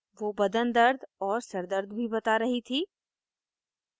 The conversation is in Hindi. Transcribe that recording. वो बदन दर्द और सर दर्द भी बता रही थी